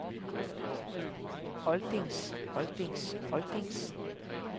oldings oldings oldings